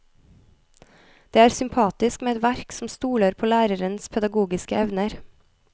Det er sympatisk med et verk som stoler på lærerens pedagogiske evner.